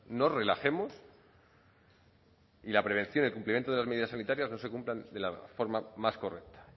nos relajemos y la prevención y el cumplimiento de medidas sanitarias no se cumplan de la forma más correcta